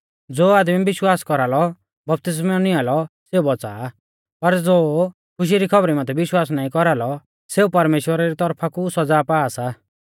ज़ो आदमी विश्वास कौरालौ बपतिस्मौ निंआ लौ सौ बौच़ा आ पर ज़ो खुशी री खौबरी माथै विश्वास नाईं कौरालौ सौ परमेश्‍वरा री तौरफा कु सौज़ा पा सा